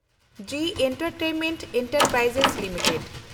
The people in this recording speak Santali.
G entertainment enterprise limited